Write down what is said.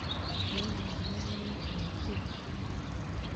Keet ng'alek ko ya ee tupche.